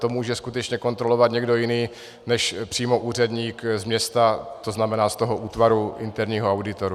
To může skutečně kontrolovat někdo jiný než přímo úředník z města, to znamená z toho útvaru interního auditu.